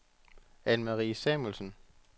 Anne-Marie Samuelsen